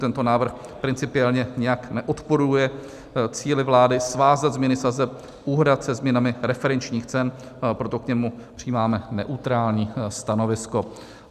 Tento návrh principiálně nijak neodporuje cíli vlády svázat změny sazeb úhrad se změnami referenčních cen, proto k němu přijímáme neutrální stanovisko.